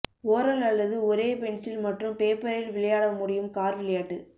oral அல்லது ஒரே pencil மற்றும் பேப்பரில் விளையாட முடியும் கார் விளையாட்டு